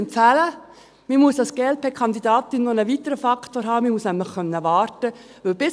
Als Glp-Kandidatin muss man einen weiteren Faktor haben, man muss nämlich warten können.